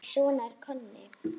Svona var Konni.